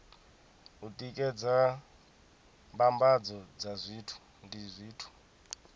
u tikedza mbambadzo ndi zwithu